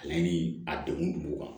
Ale ni a degun kun b'u kan